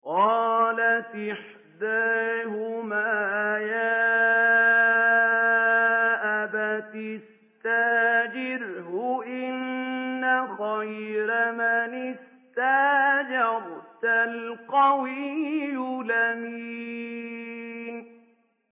قَالَتْ إِحْدَاهُمَا يَا أَبَتِ اسْتَأْجِرْهُ ۖ إِنَّ خَيْرَ مَنِ اسْتَأْجَرْتَ الْقَوِيُّ الْأَمِينُ